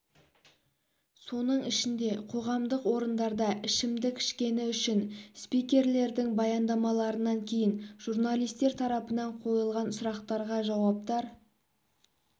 соның ішінде қоғамдық орындарда ішімдік ішкені үшін спикерлердің баяндамаларынан кейін журналистер тарапынан қойылған сұрақтарға жауаптар